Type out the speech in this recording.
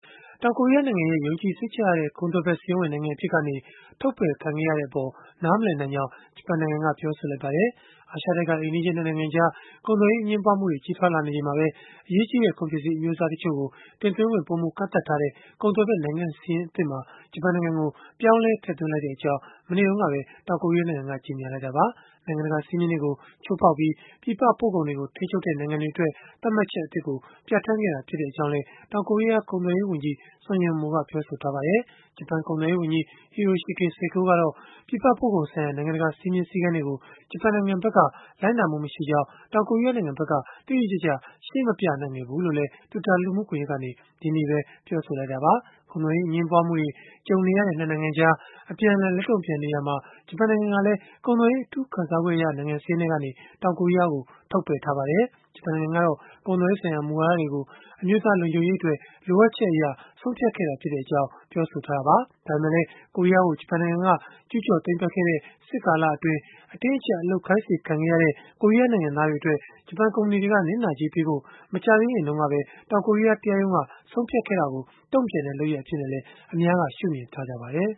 တောင်ကိုရီးယားနိုင်ငံရဲ့ ယုံကြည်စိတ်ချရတဲ့ ကုန်သွယ်ဖက်စာရင်းဝင် နိုင်ငံအဖြစ်ကနေ ထုတ်ပယ်ခံခဲ့ရတဲ့အပေါ် နားမလည်နိုင်ကြောင်း ဂျပန်နိုင်ငံက ပြောဆိုလိုက်ပါတယ်။ အာရှတိုက်က အိမ်နီးချင်း နှစ်နိုင်ငံကြား ကုန်သွယ်ရေး အငြင်းပွားမှု ကြီးထွားလာနေချိန်မှာပဲ အရေးကြီးတဲ့ ကုန်ပစ္စည်းအမျိုးအစားတွေတင်သွင်းခွင့် ပိုမိုကန့်သတ်ထားတဲ့ ကုန်သွယ်ဖက် နိုင်ငံစာရင်းသစ်မှာ ဂျပန်နိုင်ငံကို ပြောင်းလဲထည့်သွင်းလိုက်ကြောင်း မနေ့တုန်းက တောင်ကိုရီးယားနိုင်ငံက ကြေညာလိုက်တာပါ။ နိုင်ငံတကာစည်းမျဉ်းတွေကို ချိုးဖောက်ပြီး ပြည်ပပို့ကုန်တွေကိုထိန်းချုပ်တဲ့ နိုင်ငံတွေအတွက် သတ်မှတ်ချက်အသစ်ကို ပြဌာန်းခဲ့တာဖြစ်ကြောင်းလည်း တောင်ကိုရီးယား ကုန်သွယ်ရေး ဝန်ကြီး Sung Yun-mo ကပြောဆိုထားပါတယ်။ ဂျပန်ကုန်သွယ်ရေးဝန်ကြီး Hiroshige Seko ကတော့ ပြည်ပပို့ကုန်ဆိုင်ရာ နိုင်ငံတကာ စည်းမျဉ်းစည်းကမ်းတွေကို ဂျပန်နိုင်ငံက လိုက်နာမှုမရှိကြောင်း တောင်ကိုရီးယားနိုင်ငံဘက်က တိတိကျကျ ရှင်းမပြနိုင်ခဲ့ဘူးလို့လည်း Twitter လူမှုကွန်ရက်ကနေ ဒီကနေ့ပဲ ပြောဆိုခဲ့တာပါ။ ကုန်သွယ်ရေး အငြင်းပွားမှုတွေကြုံနေရတဲ့ နှစ်နိုင်ငံကြား အပြန်အလှန် လက်တုန့်ပြန်နေရာမှာ ဂျပန်နိုင်ငံကလည်း ကုန်သွယ်ရေး အထူးခံစားခွင့်ရ နိုင်ငံစာရင်းထဲကနေ တောင်ကိုရီးယားကို ထုတ်ပယ်ထားပါတယ်။ ဂျပန်နိုင်ငံကတော့ ကုန်သွယ်ရေးဆိုင်ရာမူဝါဒတွေကို အမျိုးသားလုံခြုံရေးအတွက် လိုအပ်ချက် အရ ဆုံးဖြတ်ခဲ့တာဖြစ်ကြောင်း ပြောဆိုထားတာပါ။ ဒါပေမဲ့လည်း ကိုရီးယားကို ဂျပန်နိုင်ငံက ကျူးကျော်သိမ်းပိုက်ခဲ့တဲ့ စစ်ကာလအတွင်း အတင်းအကျပ် အလုပ်ခိုင်းစေခံခဲ့ရတဲ့ ကိုရီးယားနိုင်ငံသားတွေအတွက် ဂျပန်ကုမ္ပဏီတွေက နစ်နာကြေးပေးဖို့ မကြာသေးခင်တုန်းက ပဲ တောင်ကိုရီးယားတရားရုံးက ဆုံးဖြတ်ခဲ့တာကို တုန့်ပြန်တဲ့လုပ်ရပ်အဖြစ်နဲ့လည်း အများက ရှုမြင်ထားကြပါတယ်